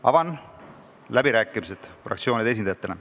Avan läbirääkimised fraktsioonide esindajatele.